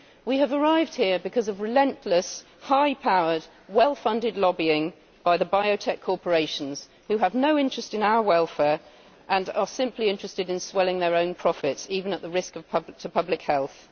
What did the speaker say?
We have arrived here because of relentless, high powered, well funded lobbying by the biotech corporations, who have no interest in our welfare and are simply interested in swelling their own profits, even at a risk to public health.